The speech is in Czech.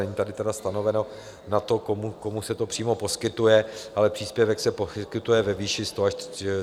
Není tady tedy stanoveno na to, komu se to přímo poskytuje, ale příspěvek se poskytuje ve výši 100 až 300 liber.